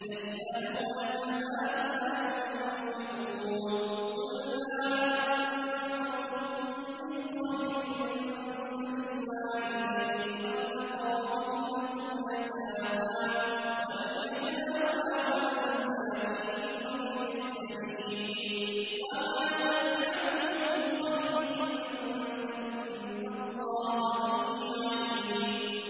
يَسْأَلُونَكَ مَاذَا يُنفِقُونَ ۖ قُلْ مَا أَنفَقْتُم مِّنْ خَيْرٍ فَلِلْوَالِدَيْنِ وَالْأَقْرَبِينَ وَالْيَتَامَىٰ وَالْمَسَاكِينِ وَابْنِ السَّبِيلِ ۗ وَمَا تَفْعَلُوا مِنْ خَيْرٍ فَإِنَّ اللَّهَ بِهِ عَلِيمٌ